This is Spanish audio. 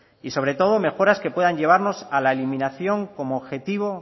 y sobre todo mejoras que puedan llevarnos a la eliminación como objetivo